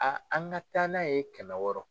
A an ka taa n'a ye kɛmɛ wɔɔrɔ